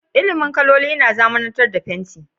Ilimin sanin kaloli ya zamanantar da fenti.